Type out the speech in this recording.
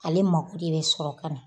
Ale mako de bɛ sɔrɔ ka na.